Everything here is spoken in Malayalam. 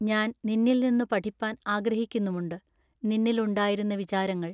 ഞാൻ നിന്നിൽനിന്നു പഠിപ്പാൻ ആഗ്രഹിക്കുന്നുമുണ്ടു. നിന്നിൽ ഉണ്ടായിരുന്ന വിചാരങ്ങൾ.